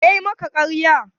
Wa yayi maka ƙarya?